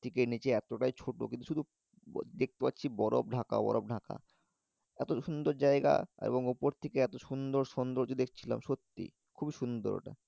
থেকে নিচে এতটাই ছোট কিন্তু দেখতে পাচ্ছি বরফ ঢাকা বরফ ঢাকা। এত সুন্দর জায়গা এবং উপর থেকে এত সুন্দর সৌন্দর্য দেখছিলাম সত্যি খুবই সুন্দর ওটা।